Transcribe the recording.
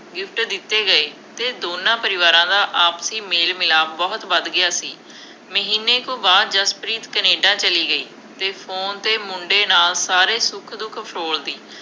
gift ਦਿੱਤੇ ਗਏ ਅਤੇ ਦੋਨਾਂ ਪਰਿਵਾਰਾਂ ਦਾ ਆਪਸੀ ਮੇਲ-ਮਿਲਾਪ ਬਹੁਤ ਵੱਧ ਗਿਆ ਸੀ। ਮਹੀਨੇ ਕੁ ਬਾਅਦ ਜਸਪ੍ਰੀਤ ਕੇਨੈਡਾ ਚਲੀ ਗਈ ਅਤੇ ਫੋਨ 'ਤੇ ਮੁੰਡੇ ਨਾਲ ਸਾਰੇ ਸੁੱਖ-ਦੁੱਖ ਫਰੋਲਦੀ।